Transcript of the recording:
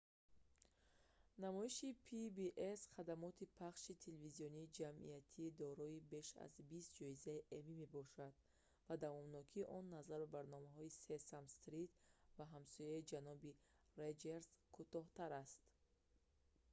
намоиши pbs хадамоти пахши телевизиони ҷамъиятӣ дорои беш аз бист ҷоизаи эмми мебошад ва давомнокии он назар ба барномаи сесам стрит ва ҳамсояи ҷаноби роҷерс кӯтоҳтар аст